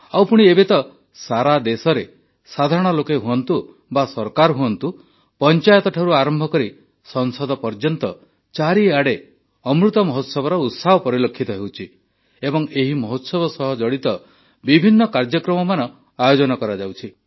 ଆଉ ପୁଣି ଏବେ ତ ସାରା ଦେଶରେ ସାଧାରଣ ଲୋକେ ହୁଅନ୍ତୁ ବା ସରକାର ହୁଅନ୍ତୁ ପଞ୍ଚାୟତ ଠାରୁ ଆରମ୍ଭ କରି ସଂସଦ ପର୍ଯ୍ୟନ୍ତ ଚାରିଆଡ଼େ ଅମୃତ ମହୋତ୍ସବର ଉତ୍ସାହ ପରିଲକ୍ଷିତ ହେଉଛି ଏବଂ ଏହି ମହୋତ୍ସବ ସହ ଜଡ଼ିତ ବିଭିନ୍ନ କାର୍ଯ୍ୟକ୍ରମମାନ ଆୟୋଜନ କରାଯାଉଛି